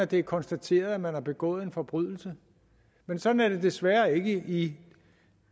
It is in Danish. det er konstateret at man har begået en forbrydelse men sådan er det desværre ikke i